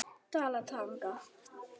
Dalatanga